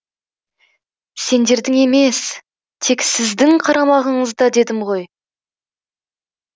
сендердің емес тек сіздің қарамағыңызда дедім ғой